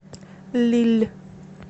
лилль